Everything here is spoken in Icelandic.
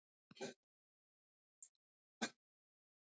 Páldís, hvað er á dagatalinu mínu í dag?